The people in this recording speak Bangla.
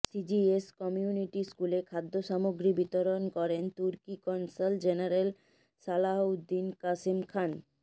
সিজিএস কমিউনিটি স্কুলে খাদ্যসামগ্রী বিতরণ করেন তুর্কি কনসাল জেনারেল সালাহউদ্দীন কাশেম খান